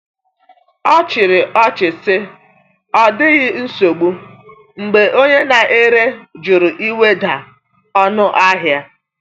Ọ chịrị ọchị sị, “Ọ dịghị nsogbu,” mgbe onye na-ere jụrụ iweda ọnụahịa.